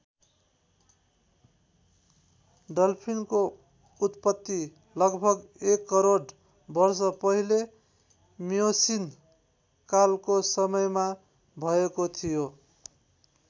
डल्फिनको उत्पत्ति लगभग १ करोड वर्ष पहिले मियोसीन कालको समयमा भएको थियो।